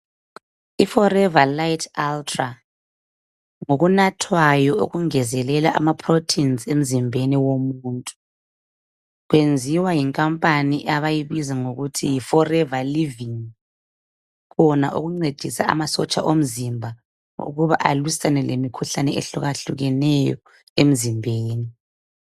Forever Lite Ultra ngumuthi ongezelela ama protein emzimbeni womuntu uyenziwa ngamakhampani abayibiza ngokuthi yiforever living kukhona okungcedisa ama sotsha omzimba ukuba aliswane lemkhuhlane ehluke hlukeneyo emzimbeni